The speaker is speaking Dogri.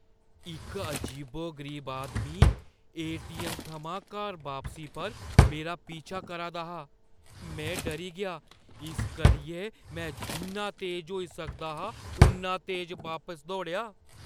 इक अजीबो-गरीब आदमी ए.टी.ऐम्म. थमां घर बापसी पर मेरा पीछा करा दा हा। मैं डरी गेआ इस करियै मैं जिन्ना तेज होई सकदा हा उन्ना तेज बापस दौड़ेआ ।